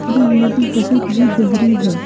यह नदी बहुत ही गहरी है।